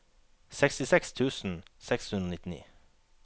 sekstiseks tusen seks hundre og nittini